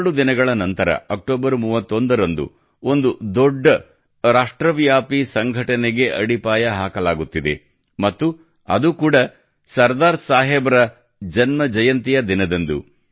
ಎರಡು ದಿನಗಳ ನಂತರ ಅಕ್ಟೋಬರ್ 31 ರಂದು ಒಂದು ದೊಡ್ಡ ರಾಷ್ಟ್ರವ್ಯಾಪಿ ಸಂಘಟನೆಗೆ ಅಡಿಪಾಯ ಹಾಕಲಾಗುತ್ತಿದೆ ಮತ್ತು ಅದು ಕೂಡ ಸರ್ದಾರ್ ಸಾಹೇಬ್ ರ ಜನ್ಮಜಯಂತಿಯ ದಿನದಂದು